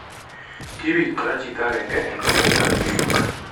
Kibit kora chito agenge eng' komastab New York